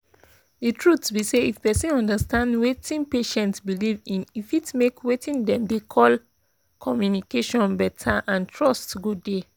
the truth be say if persin understand weting patient believe in e fit make weting dem dey call pause communication better and trust go dey.